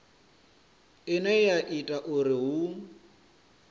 ine ya ita uri hu